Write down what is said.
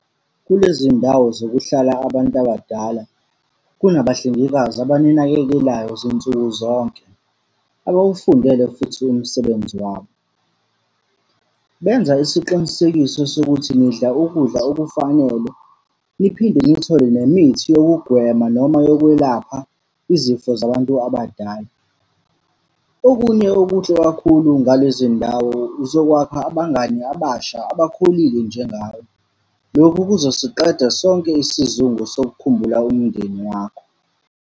Kulezi ndawo zokuhlala abantu abadala, kunabahlengikazi abaninakekelayo zinsuku zonke, abawufundele futhi umsebenzi wabo. Benza isiqinisekiso sokuthi nidla ukudla okufanele, niphinde nithole nemithi yokugwema noma yokwelapha izifo zabantu abadala. Okunye okuhle kakhulu ngalezi ndawo uzokwakha abangani abasha, abakhulile njengawe. Lokhu kuzosiqeda sonke isizungu sokukhumbula umndeni wakho.